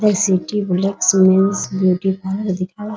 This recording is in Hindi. ब्यूटी पार्लर दिखाई --